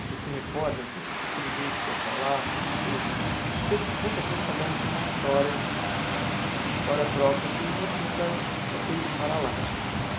você se recorda, assim, que tipo de gente que ia para lá, como que... Porque, com certeza, cada um tinha uma história, uma história própria, tem um motivo para para ter ido para lá.